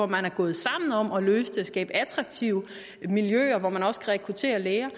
man er gået sammen om at løse det skabe attraktive miljøer hvortil man også kan rekruttere læger